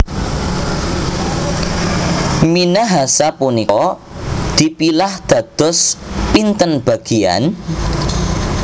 Minahasa punika dipilah dados pinten bagian?